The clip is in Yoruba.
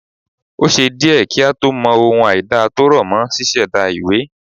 O ṣé díẹ̀ kí a tó mọ ohun àìda tó rọ̀ mọ́ ṣíṣẹ̀da ìwé